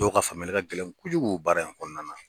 Dɔw ka faamuyali ka gɛlɛn kojugu baara in kɔnɔna na.